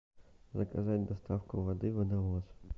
заказать доставку воды водовоз